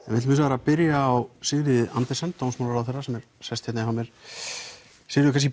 hins vegar að byrja á Sigríði Andersen dómsmálaráðherra sem er sest hérna hjá mér Sigríður